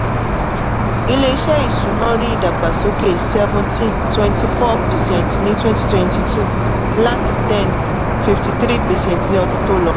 ilé-iṣẹ́ ìsúná rí ìdàgbàsókè seventeen twenty-four percent ní twenty twenty-two láti ten fifty-three percent ní ọdún tó lọ